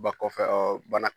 Ba kɔfɛ bana.